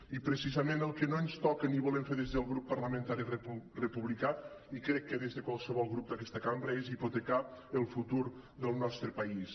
i precisament el que no ens toca ni volem fer des del grup parlamentari republicà i crec que des de qualsevol grup d’aquesta cambra és hipotecar el futur del nostre país